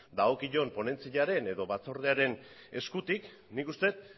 dagokion ponentziaren edo batzordearen eskutik nik uste dut